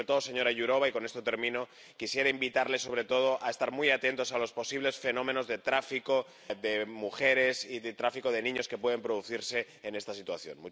Y sobre todo, señora Jourová, y con esto termino, quisiera invitarle a estar muy atentos a los posibles fenómenos de tráfico de mujeres y de tráfico de niños que pueden producirse en esta situación.